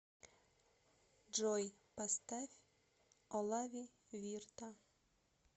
джой поставь олави вирта